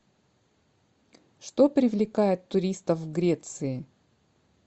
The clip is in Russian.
что привлекает туристов в греции